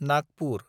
Nagpur